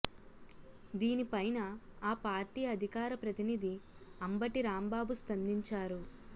దీని పైన ఆ పార్టీ అధికార ప్రతినిధి అంబటి రాంబాబు స్పందించారు